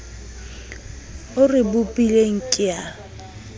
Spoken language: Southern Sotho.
o re bopileng ke a